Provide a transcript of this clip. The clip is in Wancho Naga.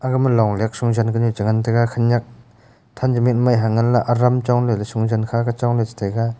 aga ma long nyak shon sha luk ku chu ngan taiga khenyak tha chu mai hai ley hengan ley aram chon ley shon jin kha ke chong ley chu taiga.